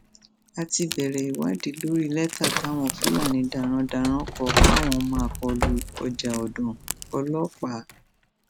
a ti bẹrẹ ìwádìí lórí lẹtà táwọn fúlàní darandaran kọ páwọn máa kọ lu ọjà ọdàn ọlọ́pàá